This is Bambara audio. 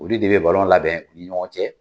Olu de bɛ balon labɛn u ni ɲɔgɔn cɛ.